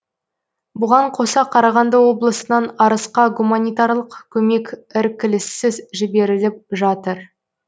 бұған қоса қарағанды облысынан арысқа гуманитарлық көмек іркіліссіз жіберіліп жатыр